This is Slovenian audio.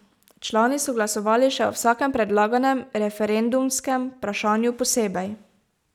Člani so glasovali še o vsakem predlaganem referendumskem vprašanju posebej.